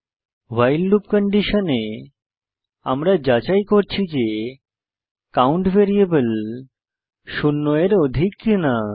ভাইল loop কন্ডিশনে আমরা যাচাই করছি যে কাউন্ট ভ্যারিয়েবল শূন্য এর অধিক কিনা